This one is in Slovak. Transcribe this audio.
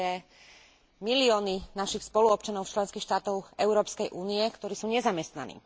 To sú milióny našich spoluobčanov z členských štátov Európskej únie, ktorí sú nezamestnaní.